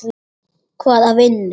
Hvaða vinnu?